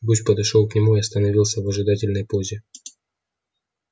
гусь подошёл к нему и остановился в ожидательной позе